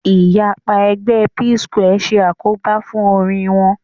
Ìyapa ẹgbẹ́ Psquare ṣe àkóbá fún orin wọn